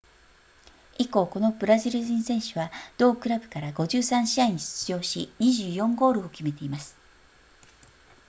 以降このブラジル人選手は同クラブから53試合に出場し24ゴールを決めています